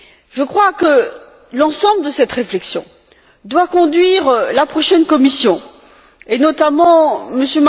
Je crois que l'ensemble de cette réflexion doit conduire la prochaine Commission, et notamment M.